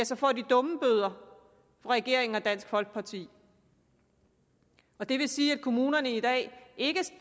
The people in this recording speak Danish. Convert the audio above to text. så får de dummebøder af regeringen og dansk folkeparti det vil sige at kommunerne i dag ikke